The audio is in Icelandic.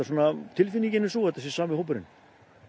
tilfinningin er sú að þetta sé sami hópurinn